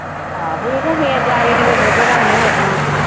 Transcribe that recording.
ਆਹ ਫਿਰ ਜਾ ਕੇ ਦੁੱਧ ਦਾ ਮੂੰਹ ਵੇਖਣਾ।